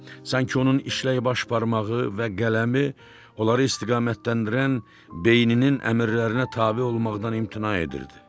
Sanki onun işlək baş barmağı və qələmi onları istiqamətləndirən beyninin əmrlərinə tabe olmaqdan imtina edirdi.